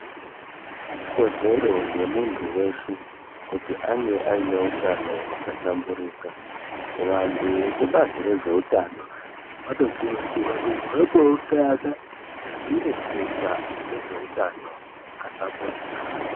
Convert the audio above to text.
Ikodzero yemuntu weshe kuti ange ane hutano hwakahlamburuka. Vantu vekubazi rezvehutano vanokurudzirwa kuti vangoungana veireketa ngezvehutano wakahlamburika.